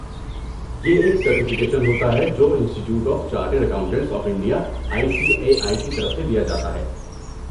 یہ ایک سرٹیفکیشن ہوتا ہے جو institute of chartered accountants of India I C A I کی طرف سے دیا جاتا ہے